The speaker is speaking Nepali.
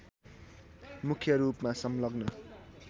मुख्य रूपमा संलग्न